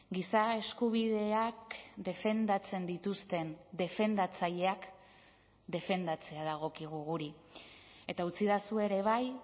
giza eskubideak defendatzen dituzten defendatzaileak defendatzea dagokigu guri eta utzidazue ere bai